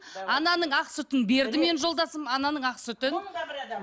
ананың ақ сүтін берді менің жолдасым ананың ақ сүтін